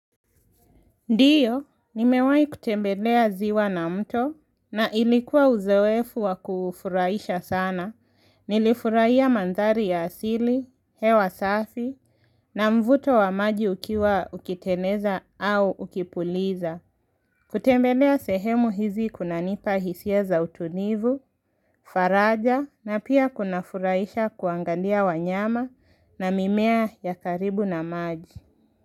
Ndiyo, nimewai kutembelea ziwa na mto na ilikuwa uzewefu wa kufuraisha sana. Nilifuraia mandhari ya asili, hewa safi na mvuto wa maji ukiwa ukiteneza au ukipuliza. Kutembelea sehemu hizi kunanipa hisia za utunivu, faraja na pia kuna furaisha kuangalia wanyama na mimea ya karibu na maji.